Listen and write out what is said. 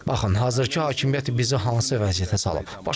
Baxın, hazırki hakimiyyət bizi hansı vəziyyətə salıb?